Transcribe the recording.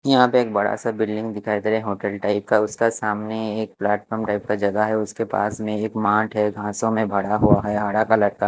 यहां पे एक बड़ा सा बिल्डिंग दिखाई दे रहा होटल टाइप का उसका सामने एक प्लेटफार्म टाइप का जगह है उसके पास में एक मार्ट है घासो में बड़ा हुआ है हरा कलर का।